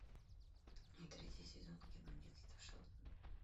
третий сезон кино детство шелдона